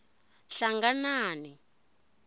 hlanganani